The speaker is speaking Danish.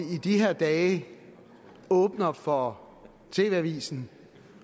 de her dage åbner for tv avisen